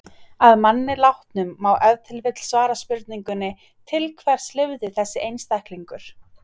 Að manni látnum má ef til vill svara spurningunni: til hvers lifði þessi einstaklingur?